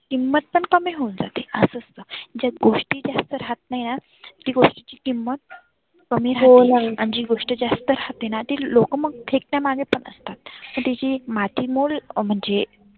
किंमत पण कमी होऊन जाते. ज्या गोष्टी जास्त राहत नाही ती गोष्टीची किंमत कमी राहते आणि जी गोष्ट जास्त राहतेना लोक मग फेकण्या मग पण असतात. त्याची माती मोल म्हणजे.